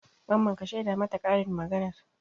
Mamman ka shaida mata karin maganar?